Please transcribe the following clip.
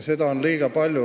Seda on liiga palju.